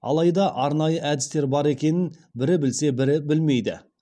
алайда арнайы әдістері бар екенін бірі білсе бірі білмейді